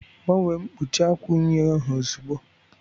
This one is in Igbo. Gbanwee mkpuchi akwa unyi ozugbo